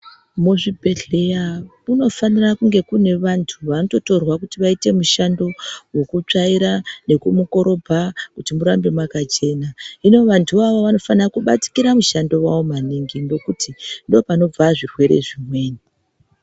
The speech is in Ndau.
Muzvibhedhleya kunofanirwa kunge kune vantu vanototorwa vanoite mushando wokutotsvaira, nekumukorobha kuti murambe makachena. Hino vantuvo avavo vanofana kubatikira mushando wavo maningi, ngekuti ndopanobva zvirwere zvimweni.